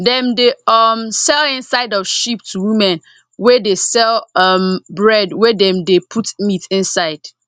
dem dey um sell inside of sheep to women wey dey sell um bread wey dem dey put meat inside